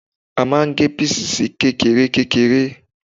A máa ń gé píìsì sí kékeré kékeré